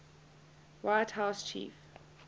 white house chief